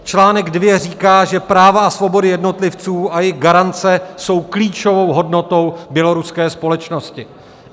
Článek 2 říká, že práva a svobody jednotlivců a jejich garance jsou klíčovou hodnotou běloruské společnosti.